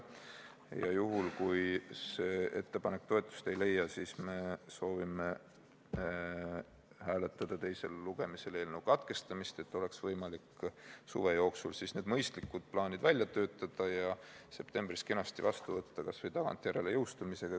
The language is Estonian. Juhul kui see ettepanek toetust ei leia, siis me soovime teisel lugemisel hääletada eelnõu lugemise katkestamist, et oleks võimalik suve jooksul need mõistlikud plaanid välja töötada ja septembris eelnõu kenasti vastu võtta, kas või tagantjärele jõustumisega.